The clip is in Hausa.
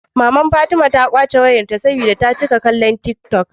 Maman fatima ta kwace wayar ta saboda ta cika kallon tik tok